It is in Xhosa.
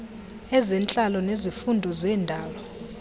ezentlalo nezifundo ngezendalo